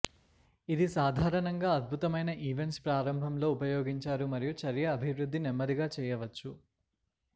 ఇది సాధారణంగా అద్భుతమైన ఈవెంట్స్ ప్రారంభంలో ఉపయోగించారు మరియు చర్య అభివృద్ధి నెమ్మదిగా చేయవచ్చు